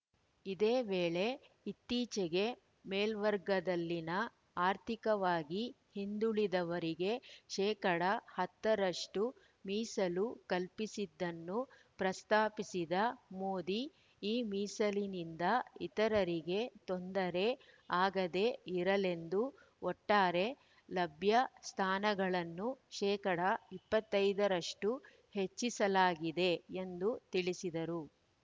ಇದೇ ವೇಳೆ ಇತ್ತೀಚೆಗೆ ಮೇಲ್ವರ್ಗದಲ್ಲಿನ ಆರ್ಥಿಕವಾಗಿ ಹಿಂದುಳಿದವರಿಗೆ ಶೇಕಡಾ ಹತ್ತ ರಷ್ಟುಮೀಸಲು ಕಲ್ಪಿಸಿದ್ದನ್ನು ಪ್ರಸ್ತಾಪಿಸಿದ ಮೋದಿ ಈ ಮೀಸಲಿನಿಂದ ಇತರರಿಗೆ ತೊಂದರೆ ಆಗದೇ ಇರಲೆಂದು ಒಟ್ಟಾರೆ ಲಭ್ಯ ಸ್ಥಾನಗಳನ್ನು ಶೇಕಡಾ ಇಪ್ಪತ್ತ್ ಐದರಷ್ಟುಹೆಚ್ಚಿಸಲಾಗಿದೆ ಎಂದು ತಿಳಿಸಿದರು